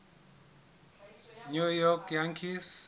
new york yankees